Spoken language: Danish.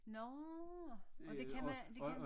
Nårh og det kan man det kan